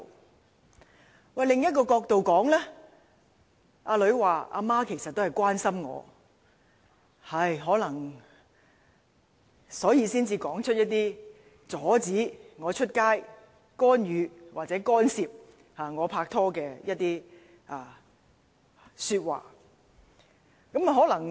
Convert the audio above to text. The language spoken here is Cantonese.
但是，從另一角度看這件事，女兒可能會說母親其實是關心她，所以才說出那些阻止她出街、干預或干涉她拍拖的說話。